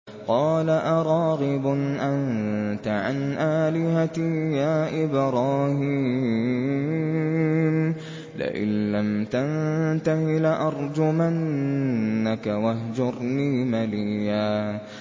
قَالَ أَرَاغِبٌ أَنتَ عَنْ آلِهَتِي يَا إِبْرَاهِيمُ ۖ لَئِن لَّمْ تَنتَهِ لَأَرْجُمَنَّكَ ۖ وَاهْجُرْنِي مَلِيًّا